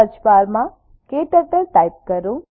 સર્ચબારમાં ક્ટર્ટલ ટાઇપ કરો